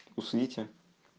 усните